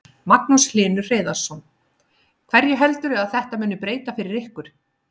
Magnús Hlynur Hreiðarsson: Hverju heldurðu að þetta muni breyta fyrir ykkur?